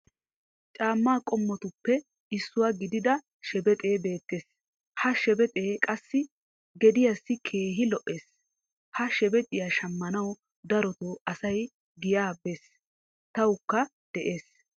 caamaa qommotuppe issuwa gididda shebexee beetees. ha shebexee qassi gediyassi keehi lo'ees. ha shebexxiya shammanwu darotoo asau giyaa bes. tawukka de'ees.